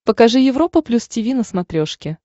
покажи европа плюс тиви на смотрешке